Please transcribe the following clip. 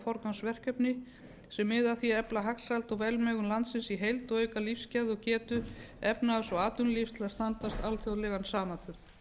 forgangsverkefni sem miða að því að efla hagsæld og velmegun landsins í heild og auka lífsgæði og getu efnahags og atvinnulífs til að standast alþjóðlegan samanburð